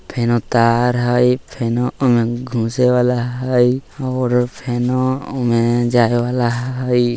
फेनो तार हेय फेनो घुसे वाला हेय और फेनो उ में जाय वाला हेय।